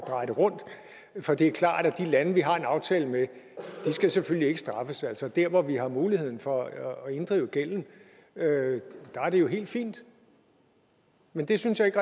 dreje det rundt for det er klart at de lande vi har en aftale med selvfølgelig ikke skal straffes altså der hvor vi har muligheden for at inddrive gælden er det jo helt fint men det synes jeg ikke